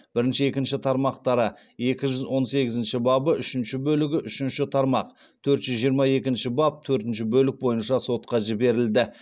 бірінші екінші тармақтары екі жүз он сегізінші бабы үшінші бөлігі үшінші тармақ төрт жүз жиырма екінші баб төртінші бөлік бойынша сотқа жіберілді